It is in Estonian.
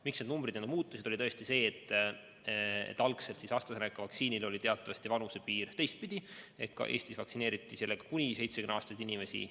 Miks need numbrid muutusid, oli tõesti see, et algselt oli AstraZeneca vaktsiinile teatavasti vanusepiir teistpidi: Eestis vaktsineeriti sellega kuni 70-aastaseid inimesi.